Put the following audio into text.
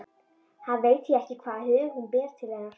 Hann veit því ekki hvaða hug hún ber til hennar.